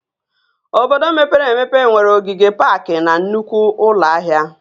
Obodo mepere emepe nwere ogige paakị na nnukwu ụlọ ahịa